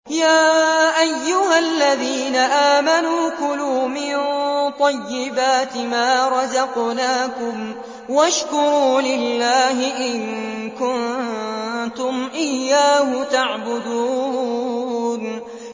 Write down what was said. يَا أَيُّهَا الَّذِينَ آمَنُوا كُلُوا مِن طَيِّبَاتِ مَا رَزَقْنَاكُمْ وَاشْكُرُوا لِلَّهِ إِن كُنتُمْ إِيَّاهُ تَعْبُدُونَ